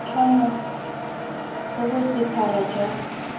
boatlhamo bo bo sephara jwa